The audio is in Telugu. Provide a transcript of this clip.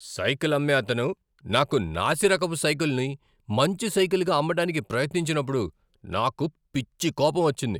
సైకిల్ అమ్మే అతను నాకు నాసి రకపు సైకిల్ను మంచి సైకిల్గా అమ్మడానికి ప్రయత్నించినప్పుడు నాకు పిచ్చి కోపం వచ్చింది.